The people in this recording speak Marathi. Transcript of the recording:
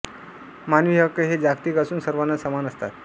मानवी हक्क हे जागतिक असून सर्वांना समान असतात